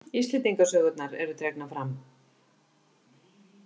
Íslendingasögurnar eru dregnar fram.